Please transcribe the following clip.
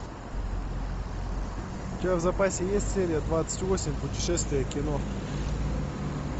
у тебя в запасе есть серия двадцать восемь путешествие кино